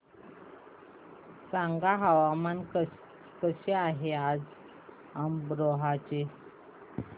सांगा हवामान कसे आहे आज अमरोहा चे